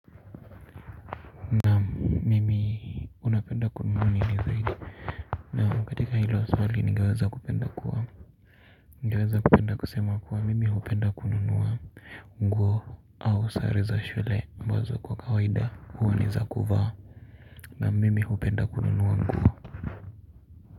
Naam mimi, unapenda kununua nini zaidi, na katika hilo swali ningeweza kupenda kuwa ningeweza kupenda kusema kuwa mimi hupenda kununua nguo. Ooh sare za shule ambazo kwa kawaida huwa ni za kuvaa na mimi hupenda kununua nguo.